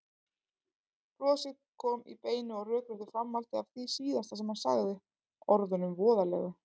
Brosið kom í beinu og rökréttu framhaldi af því síðasta sem hann sagði, orðunum voðalegu.